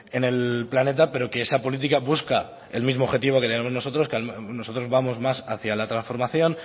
en el planeta pero que esa política busca el mismo objetivo que tenemos nosotros nosotros vamos más hacía la transformación